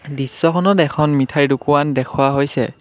দৃশ্যখনত এখন মিঠাইৰ দোকোৱান দেখুওৱা হৈছে।